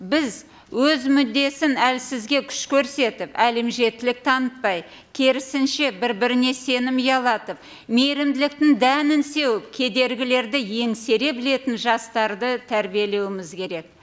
біз өз мүддесін әлсізге күш көрсетіп әлімжеттілік танытпай керісінше бір біріне сенім ұялатып мейірімділіктің дәнін сеуіп кедергілерді еңсере білетін жастарды тәрбиелеуіміз керек